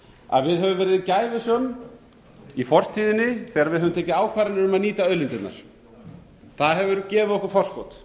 að við höfum verið gæfusöm í fortíðinni þegar við höfum tekið ákvarðanir um að nýta auðlindirnar það hefur gefið okkur forskot